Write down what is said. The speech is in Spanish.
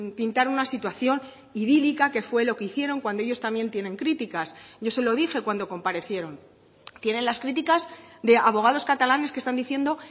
pintar una situación idílica que fue lo que hicieron cuando ellos también tienen críticas yo se lo dije cuando comparecieron tienen las críticas de abogados catalanes que están diciendo